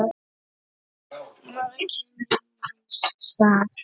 Maður kemur í manns stað.